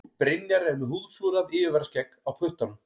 Brynjar er með húðflúrað yfirvaraskegg á puttanum.